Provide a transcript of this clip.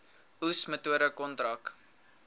oes metode kontrak